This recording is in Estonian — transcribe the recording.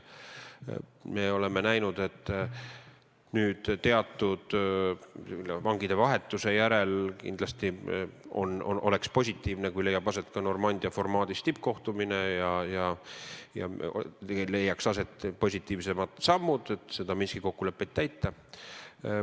Me oleme näinud, et teatud vangide vahetuse järel oleks kindlasti positiivne, kui leiaks aset ka Normandia formaadis tippkohtumine ja tehtaks positiivsemaid samme, et Minski kokkulepet täita.